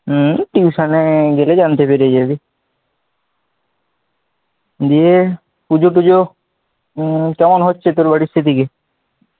Tution এ এলেই জানতে পেরে যাবি, দিয়ে পুজো টুজো, হম হচ্ছে তোর বাড়ির দিকে,